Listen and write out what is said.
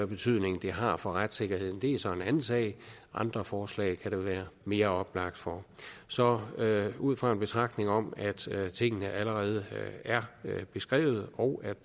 betydning det har for retssikkerheden er så en anden sag andre forslag kan det være mere oplagt for så ud fra en betragtning om at tingene allerede er beskrevet og